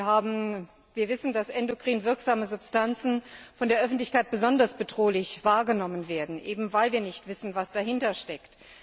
Wir wissen, dass endokrin wirksame Substanzen von der Öffentlichkeit als besonders bedrohlich wahrgenommen werden, eben weil wir nicht wissen, was dahintersteckt.